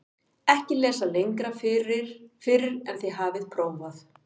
EKKI LESA LENGRA FYRR EN ÞIÐ HAFIÐ PRÓFAÐ